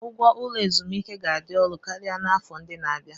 Ụgwọ ụlọ ezumike ga-adị ọnụ karịa n'afọ ndị na-abịa.